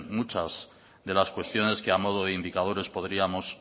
muchas de las cuestiones que ha modo de indicadores podíamos